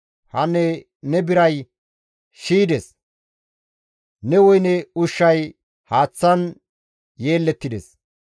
Hanne ne biray shiydes; ne woyne ushshay haaththan yeellettides.